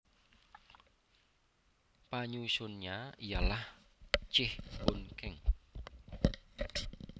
Penyusunnya ialah Cheah Boon Kheng